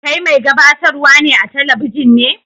Kai mai gabatarwa a'telibijin ne?